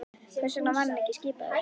Hvers vegna var hann ekki skipaður?